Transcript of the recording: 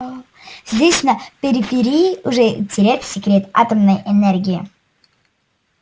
здесь на периферии уже утерян секрет атомной энергии